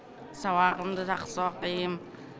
сабағымды жақсы оқимын